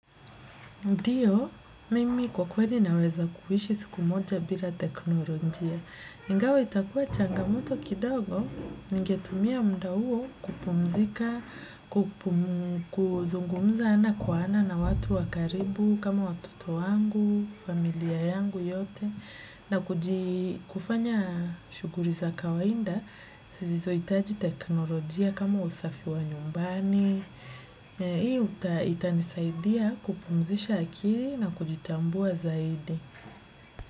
Ndiyo, mimi kwa kweli naweza kuishi siku moja bila teknolojia. Ingawa itakuwa changamoto kidogo, ningetumia muda huo kupumzika, kuzungumza ana kwa ana na watu wa karibu kama watoto wangu, familia yangu yote. Na kufanya shuguli za kawaida, zisizohitaji teknolojia kama usafi wa nyumbani. Hii itanisaidia kupumzisha akili na kujitambua zaidi.